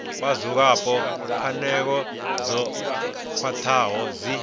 vhadzulapo pfanelo dzo khwathaho dzi